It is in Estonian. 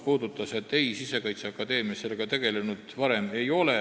Vastus oli eitav: Sisekaitseakadeemia sellega varem tegelenud ei ole.